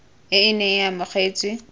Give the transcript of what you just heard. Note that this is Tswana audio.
e e neng e amogetswe